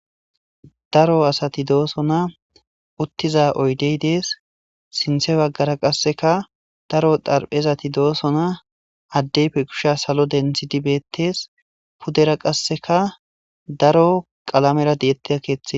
daro asati dooso na uttiza oydey dees sinthe baggara qasseka daro darphezati dooso na addeyfe kusha salo denthi dibettes pudera qasseka daro qalamera deettea keeththe